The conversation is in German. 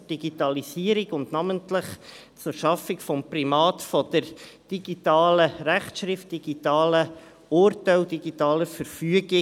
Es geht um die Digitalisierung und um die Schaffung des Primats der digitalen Rechtsschrift, von digitalen Urteilen und digitalen Verfügungen.